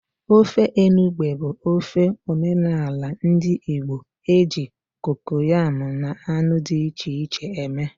Ofe enugbe bụ ofe omenala ndị Igbo e ji kokoyam na anụ dị iche iche eme.